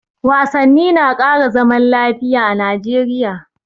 Wasanni na ƙara zaman lafiya a Najeriya